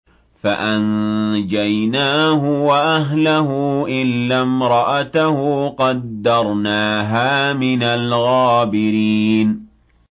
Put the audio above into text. فَأَنجَيْنَاهُ وَأَهْلَهُ إِلَّا امْرَأَتَهُ قَدَّرْنَاهَا مِنَ الْغَابِرِينَ